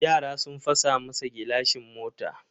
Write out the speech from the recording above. Yara sun fasa masa gilashin mota.